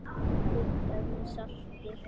Kryddað með salti.